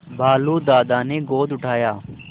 भालू दादा ने गोद उठाया